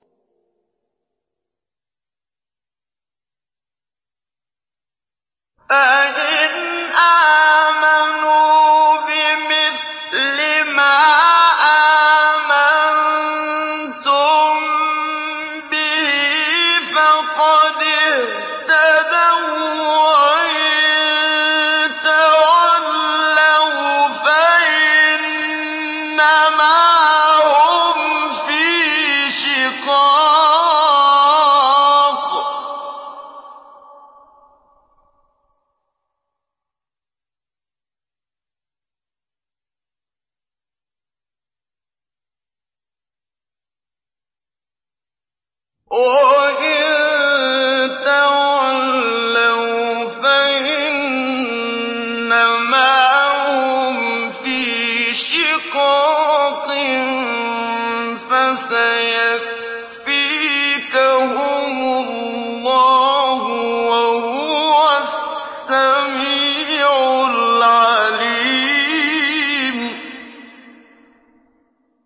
فَإِنْ آمَنُوا بِمِثْلِ مَا آمَنتُم بِهِ فَقَدِ اهْتَدَوا ۖ وَّإِن تَوَلَّوْا فَإِنَّمَا هُمْ فِي شِقَاقٍ ۖ فَسَيَكْفِيكَهُمُ اللَّهُ ۚ وَهُوَ السَّمِيعُ الْعَلِيمُ